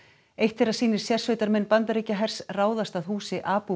eitt þeirra sýnir sérsveitarmenn Bandaríkjahers ráðast að húsi Abu